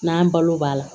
N'an balo b'a la